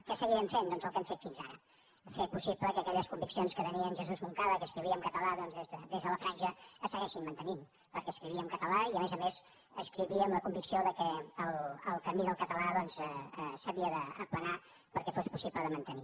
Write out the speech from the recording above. què seguirem fent doncs el que hem fet fins ara fer possible que aquelles conviccions que tenia en jesús moncada que escrivia en català doncs des de la franja es segueixin mantenint perquè escrivia en català i a més a més escrivia amb la convicció que el camí del català s’havia d’aplanar perquè fos possible de mantenir